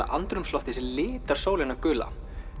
andrúmsloftið sem litar sólina gula